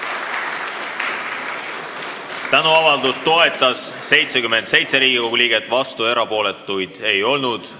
Hääletustulemused Tänuavaldust toetas 77 Riigikogu liiget, vastuolijaid ega erapooletuid ei olnud.